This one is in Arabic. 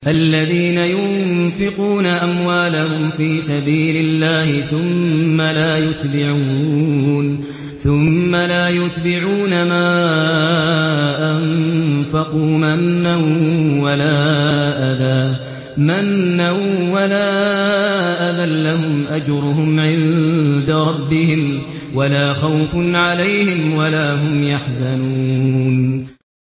الَّذِينَ يُنفِقُونَ أَمْوَالَهُمْ فِي سَبِيلِ اللَّهِ ثُمَّ لَا يُتْبِعُونَ مَا أَنفَقُوا مَنًّا وَلَا أَذًى ۙ لَّهُمْ أَجْرُهُمْ عِندَ رَبِّهِمْ وَلَا خَوْفٌ عَلَيْهِمْ وَلَا هُمْ يَحْزَنُونَ